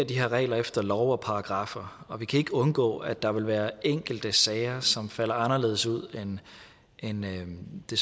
de her regler efter love og paragraffer og vi kan ikke undgå at der vil være enkelte sager som falder anderledes ud end det